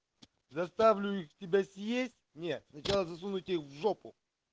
заставлю их тебя съесть не сначала засуну тебе их в жопу